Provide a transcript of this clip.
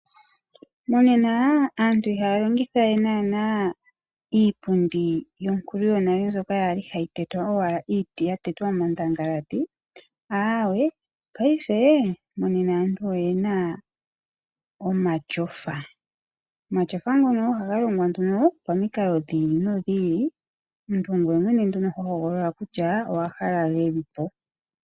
Monena aantu ihaya longitha naana we iipundi yonkulu yonale mbyoka ya li hayi tetwa owala iiti ya tetwa omandangalati, aawe paife monena aantu oyena omatyofa. Omatyofa ngono nduno ohaga longwa nduno pamikalo dhi ili nodhi ili, omuntu ongweye mwene nduno hogolola kutya owa hala geli po.